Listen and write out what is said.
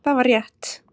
Það var rétt.